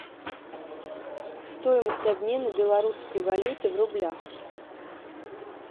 стоимость обмена белорусской валюты в рублях